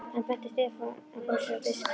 Hann benti Stefáni á að fá sér á diskinn.